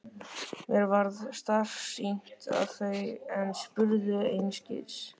Mér varð starsýnt á þau en spurði einskis.